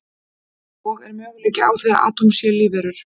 Og er möguleiki á því að atóm séu lífverur?